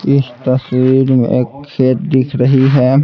इस तस्वीर में एक खेत दिख रही है।